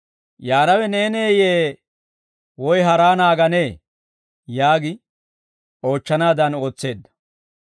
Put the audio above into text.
«Yaanawe neeneeyye? Woy haraa naaganee?» yaagi oochchanaadan ootseedda.